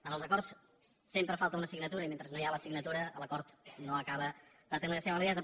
en els acords sempre falta una signatura i mentre no hi ha la signatura l’acord no acaba de tenir la seva validesa